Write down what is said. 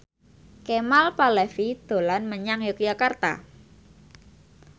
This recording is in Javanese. Kemal Palevi dolan menyang Yogyakarta